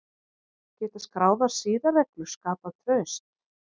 Geta skráðar siðareglur skapað traust?